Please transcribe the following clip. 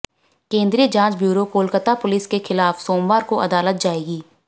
केंद्रीय जाँच bureau Kolkata police के ख़िलाफ़ सोमवार को अदालत जाएगी